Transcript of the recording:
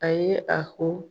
A ye a ho